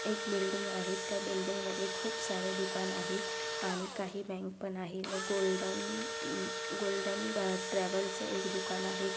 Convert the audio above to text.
एक बिल्डिंग आहे त्या बिल्डिंग मध्ये खूप सारे दुकान आहेत आणि काही बँक पण आहे नअह गोल्डन अह गोल्डन ट्रॅ ट्रॅव्हलच एक दुकान आहेत.त्या--